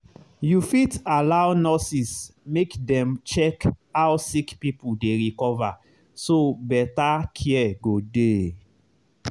you fit allow nurses make dem check how sick people dey recover so better care go dey.